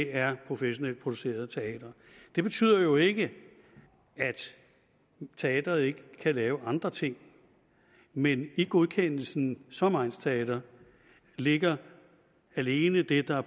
er professionelt produceret teater det betyder jo ikke at teatret ikke kan lave andre ting men i godkendelsen som egnsteater ligger alene det der